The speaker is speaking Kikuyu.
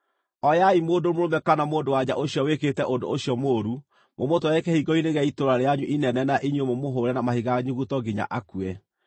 oyai mũndũ mũrũme kana mũndũ-wa-nja ũcio wĩkĩte ũndũ ũcio mũũru mũmũtware kĩhingo-inĩ gĩa itũũra rĩanyu inene na inyuĩ mũmũhũre na mahiga nyuguto nginya akue.